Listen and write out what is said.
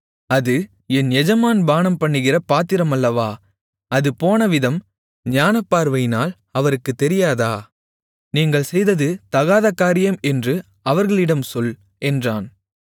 அது என் எஜமான் பானம்பண்ணுகிற பாத்திரம் அல்லவா அது போனவிதம் ஞானபார்வையினால் அவருக்குத் தெரியாதா நீங்கள் செய்தது தகாதகாரியம் என்று அவர்களிடம் சொல் என்றான்